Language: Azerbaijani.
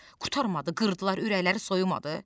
Qurtarmadı, qırdılar, ürəkləri soyumadı?